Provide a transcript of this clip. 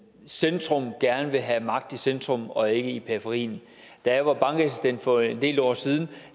centrum gerne vil have magt i centrum og ikke i periferien da jeg var bankassistent for en del år siden